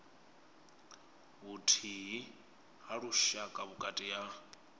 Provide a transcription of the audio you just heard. vhuthihi ha lushaka vhukati ha